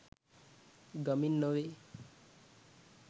ගමින් නොවේ